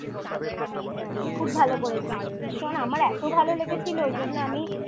দারুন! দারুন! খুব ভালো করেছিস ভীষণ আমার এতো ভালো লেগেছিল ওইজন্য আমি